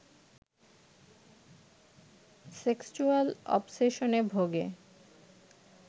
sexual অবসেশনে ভোগে